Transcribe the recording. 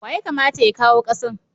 Wa ya kamata ya kawo kasan?